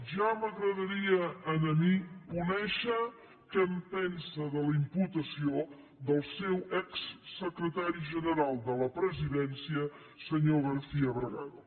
ja m’agradaria a mi conèixer què en pensa de la imputació del seu exsecretari general de la presidència senyor garcía bragado